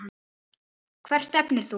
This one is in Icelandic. Hvert stefnir þú?